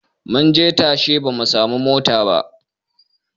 Munje tasha ba mu samu mota ba